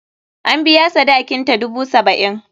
An biya sadakinta, dubu saba'in.